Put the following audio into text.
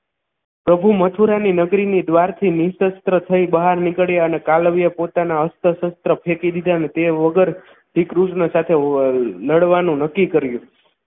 પ્રભુ મથુરાની નગરીની દ્વારથી નીશસ્ત્ર થી બહાર નીકળ્યા અને કાલવ્ય પોતાના હસ્ત અસત્ર ફેંકી દીધા અને તે વગર શ્રીકૃષ્ણ સાથે લડવાનું નક્કી કર્યુ